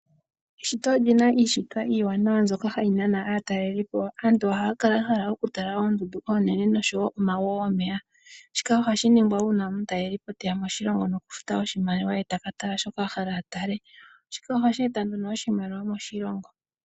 Eshito olina iishitwa iiwanawa mbyoka ha yi nana aatalelipo. Aantu ohaya kala yahala okutala oondundu oshowo omago gomeya shika oha shiningwa uuna omutalelipo teya moshilongo nokufuta oshimaliwa e takatala shoka ahala atale Shika ohashi eta oshimaliwa moshilongo.